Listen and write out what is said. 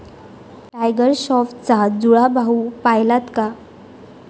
Tiger श्राॅफचा जुळा भाऊ पाहिलात का?